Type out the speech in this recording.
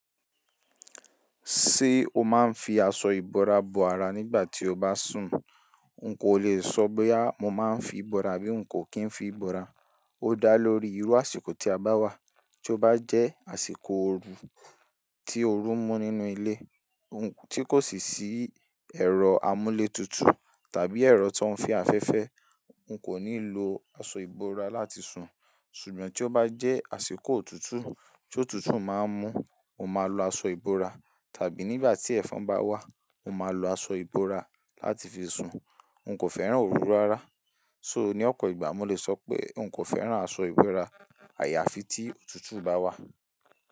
Ṣé o máa ń fi aṣọ ìbora bo ara nígbà tí o bá sùn? N kò lè sọ boya mọ́ máa ń fi ìbora abí n kò kín fi ìbora. Ó dá lórí irú àsìkò tí a bá wà. Tí ó bá jẹ́ àsìkò oru tí oru ń mú nínú ilé, tí kò sì sí ẹ̀rọ amúlé tutù tàbí ẹ̀rọ tó ń fe afẹ́fẹ́, n kò ní lo aṣọ ìbora láti sùn. Ṣùgbọ́n tí ó bá jẹ́ àsìkò òtútù tí òtútù máa ń mú, mo máa lo aṣọ ìbora. Tàbí nígbà tí ẹ̀fọn bá wà, mo máa lo aṣọ ìbora láti fi sùn. N kò fẹ́ràn oru rárá. Ṣóò ní ọ̀pọ̀ ìgbà mo lè sọ pé n kò fẹ́ràn aṣọ ìbora. Àyàfi tí òtútù bá wà.